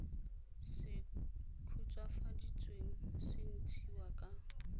se khutswafaditsweng se ntshiwa ka